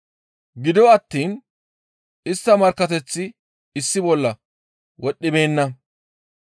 Gido attiin istta markkateththi issi bolla wodhdhibeenna.